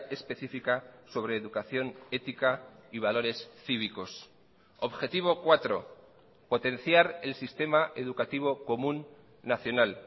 específica sobre educación ética y valores cívicos objetivo cuatro potenciar el sistema educativo común nacional